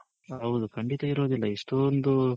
ಹೌದು ಖಂಡಿತ ಇರೋದಿಲ್ಲ ಇಷ್ಟೊಂದು